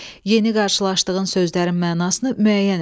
Yeni qarşılaşdığın sözlərin mənasını müəyyən et.